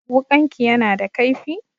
Wuƙanki yana da kaifi?